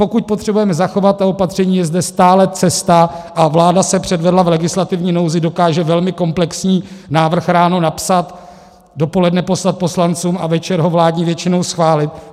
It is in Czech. Pokud potřebujeme zachovat ta opatření, je zde stále cesta, a vláda se předvedla, v legislativní nouzi dokáže velmi komplexní návrh ráno napsat, dopoledne poslat poslancům a večer ho vládní většinou schválit.